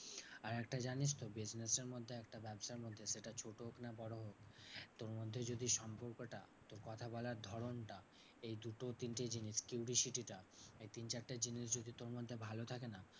আর একটা জানিস তো business এর মধ্যে একটা ব্যাবসার মধ্যে সেটা ছোট হোক না বড় হোক। তোর মধ্যে যদি সম্পর্কটা তোর কথা বলার ধরণটা এই দুটো তিনটে জিনিস curiosity টা এই তিন চারটে জিনিস যদি তোর মধ্যে ভালো থাকে না?